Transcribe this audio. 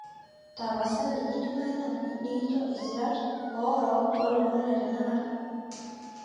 tapasali kidimayu naaji nikincho isirat oo rook oo ilomon le tenakata